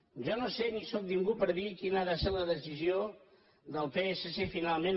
jo no sé ni sóc ningú per dir ho quina ha de ser la decisió del psc finalment